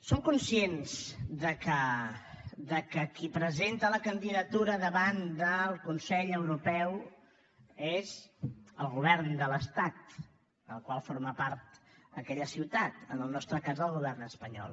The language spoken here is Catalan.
som conscients que qui presenta la candidatura davant del consell europeu és el govern de l’estat del qual forma part aquella ciutat en el nostre cas el govern espanyol